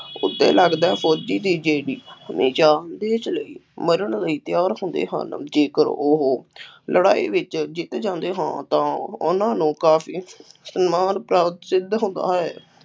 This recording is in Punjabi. ਉੱਤੇ ਲੱਗਦਾ ਫੌਜੀ ਦੀ ਦੇਸ਼ ਲਈ ਮਰਨ ਲਈ ਤਿਆਰ ਹੁੰਦੇ ਹਨ ਜੇਕਰ ਉਹ ਲੜਾਈ ਵਿੱਚ ਜਿੱਤ ਜਾਂਦੇ ਹਨ ਤਾਂ ਉਹਨਾ ਨੂੰ ਕਾਫੀ ਸਨਮਾਨ ਪ੍ਰਾਪਤ ਸਿੱਧ ਹੁੰਦਾ ਹੈ ।